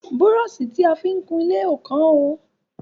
Brọ́ṣì ta fi ń kunlé ò kán o.